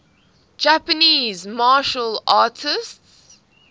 japanese martial arts